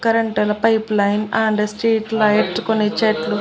current ల pipeline and street lights కొన్ని చెట్లు--